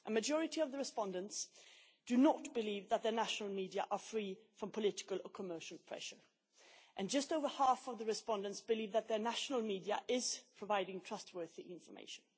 A majority of the respondents do not believe that the national media are free from political or commercial pressure, while just over half of the respondents believe that their national media is providing trustworthy information.